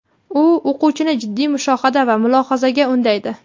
U o‘quvchini jiddiy mushohada va mulohazaga undaydi.